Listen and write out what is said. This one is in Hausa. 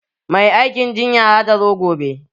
Mai aikin jinya za ta zo gobe.